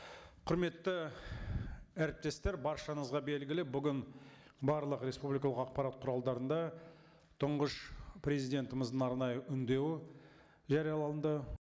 құрметті әріптестер баршаңызға белгілі бүгін барлық республикалық ақпарат құралдарында тұңғыш президентіміздің арнайы үндеуі жарияланды